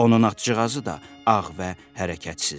Onun atçığazı da ağ və hərəkətsizdir.